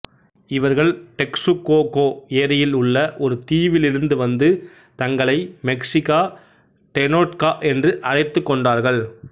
இவர்கள் டெக்சுகோகோ ஏரியில் உள்ள் ஒரு தீவிலிருந்து வந்து தங்களை மெக்சிகா டெனொட்கா என்று அழைத்துக் கொண்டார்கள்